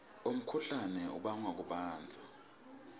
umkhuhlane ubangwa kubandza